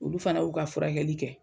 Olu fana y'u ka furakɛli kɛ.